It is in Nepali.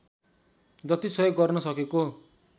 जति सहयोग गर्न सकेको